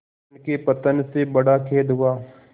उनके पतन से बड़ा खेद हुआ